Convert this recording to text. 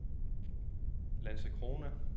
Landskrona